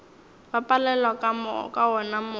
ba palelwa ka wona mokgwa